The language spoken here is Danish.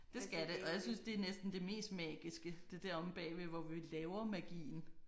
Det skal det og jeg synes det er næsten det mest magiske det er der omme bagved hvor vi laver magien